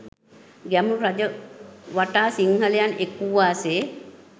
ගැමුණු රජු වටා සිංහලයන් එක්වූවාසේ.